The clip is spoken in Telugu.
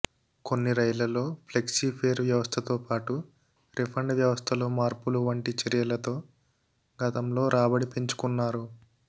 కొన్ని రైళ్లలో ఫ్లెక్సీ ఫేర్ వ్యవస్ధతో పాటు రిఫండ్ వ్యవస్థలో మార్పులు వంటి చర్యలతో గతంలో రాబడి పెంచుకున్నారు